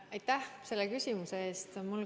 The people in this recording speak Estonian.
Aitäh selle küsimuse eest!